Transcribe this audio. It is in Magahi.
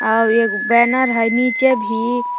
आव एग बैनर हइ नीचे भी--